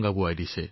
নিশ্চয় মহোদয়